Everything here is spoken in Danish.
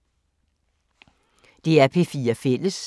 DR P4 Fælles